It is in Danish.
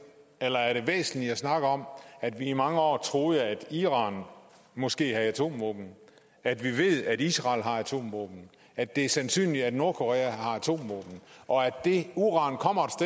eller er det væsentligt at snakke om at vi i mange år troede iran måske havde atomvåben at vi ved israel har atomvåben at det er sandsynligt at nordkorea har atomvåben og at det uran kommer